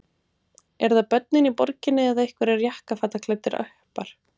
Eru það börnin í borginni eða einhverjir jakkafataklæddir uppar?